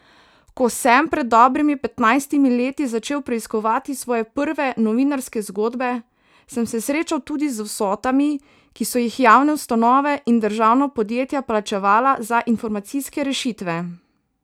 Ko sem pred dobrimi petnajstimi leti začel preiskovati svoje prve novinarske zgodbe, sem se srečal tudi z vsotami, ki so jih javne ustanove in državna podjetja plačevala za informacijske rešitve.